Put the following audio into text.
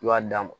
I b'a d'a ma